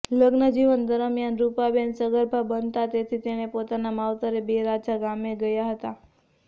લગ્ન જીવન દરમ્યાન રૂપાબેન સગર્ભા બનતાં તેણી પોતાના માવતરે બે રાજા ગામે ગયા હતા